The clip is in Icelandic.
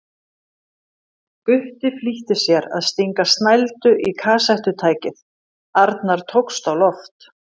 Gutti flýtti sér að stinga snældu í kassettutækið, Arnar tókst á loft.